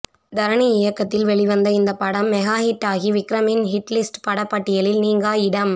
தரணி இயக்கத்தில் வெளிவந்த இந்தப் படம் மெகா ஹிட்டாகி விக்ரமின் ஹிட் லிஸ்ட் பட பட்டியலில் நீங்கா இடம்